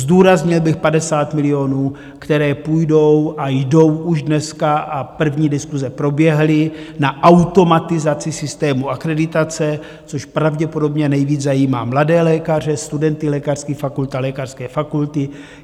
Zdůraznil bych 50 milionů, které půjdou a jdou už dneska, a první diskuse proběhly, na automatizaci systému akreditace, což pravděpodobně nejvíc zajímá mladé lékaře, studenty lékařských fakult a lékařské fakulty.